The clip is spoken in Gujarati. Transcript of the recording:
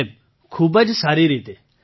સાહેબ ખૂબ જ સારી રીતે